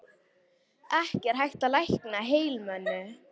Ekki er hægt að lækna heilalömun.